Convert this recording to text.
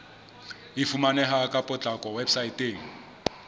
e fumaneha ka potlako weposaeteng